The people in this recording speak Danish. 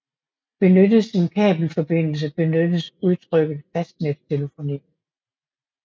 Benyttes en kablet forbindelse benyttes udtrykket fastnettelefoni